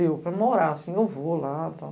Eu, para morar assim, eu vou lá e tal.